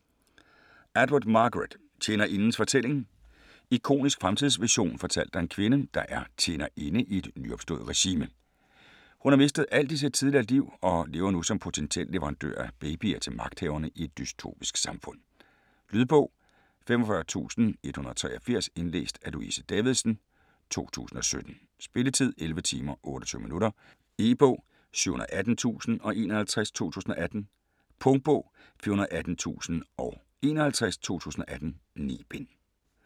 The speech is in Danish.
Atwood, Margaret: Tjenerindens fortælling Ikonisk fremtidsvision fortalt af en kvinde, der er "tjenerinde" i et nyopstået regime. Hun har mistet alt i sit tidligere liv og lever nu som potentiel leverandør af babyer til magthaverne i et dystopisk samfund. Lydbog 45183 Indlæst af Louise Davidsen, 2017. Spilletid: 11 timer, 28 minutter. E-bog 718051 2018. Punktbog 418051 2018. 9 bind.